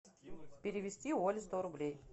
перевести оле сто рублей